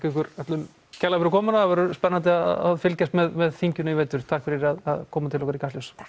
ykkur öllum kærlega fyrir komuna það verður spennandi að fylgjast með þinginu í vetur takk fyrir að koma til okkar í Kastljós